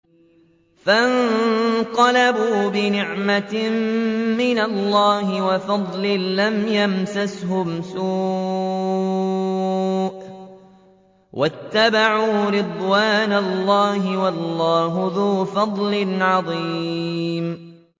فَانقَلَبُوا بِنِعْمَةٍ مِّنَ اللَّهِ وَفَضْلٍ لَّمْ يَمْسَسْهُمْ سُوءٌ وَاتَّبَعُوا رِضْوَانَ اللَّهِ ۗ وَاللَّهُ ذُو فَضْلٍ عَظِيمٍ